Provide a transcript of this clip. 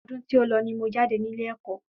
Ọdún tí o lọ ni mo jáde nílé ẹ̀kọ́